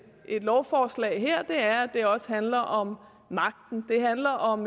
her lovforslag er at det også handler om magten det handler om